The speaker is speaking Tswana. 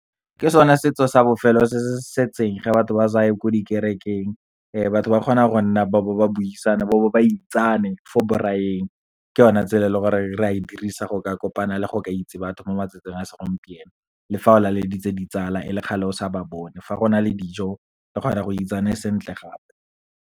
Ke sone setso sa bofelo se se setseng, ga batho ba saye ko dikerekeng. Batho ba kgona go nna ba bo ba buisana, ba bo ba itsane fo braai-eng. Ke o na tsela e leng gore re a e dirisa go ka kopana le go ka itse batho mo matsatsing a segompieno. Le fa o laleditse ditsala, e le kgale o sa ba bone, fa go na le dijo, o ka kgona go itsane sentle gape.